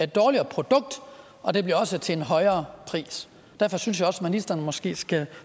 dårligere produkt og det bliver også til en højere pris derfor synes jeg også ministeren måske skulle